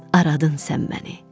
aradın sən məni.